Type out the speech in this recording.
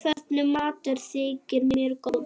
Hvernig matur þykir þér góður?